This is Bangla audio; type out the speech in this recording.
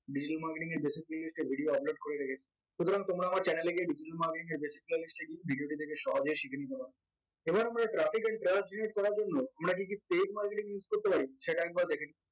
digital marketing এর basic playlist এ video upload করে রেখেছি সুতরাং তোমরা আমার channel এ গিয়ে digital marketing এর basic playlist এ গিয়ে video দেখে সহজেই শিখে নিতে পারবে এবার আমরা traffic করার জন্য আমরা কি কি paid marketing use করতে পারি সেটা একবার দেখেনি